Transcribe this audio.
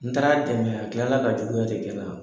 N taara a dɛmɛ a kila la ka juguya de kɛ n na.